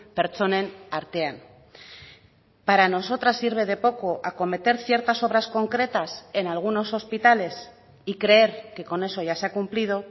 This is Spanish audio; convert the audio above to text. pertsonen artean para nosotras sirve de poco acometer ciertas obras concretas en algunos hospitales y creer que con eso ya se ha cumplido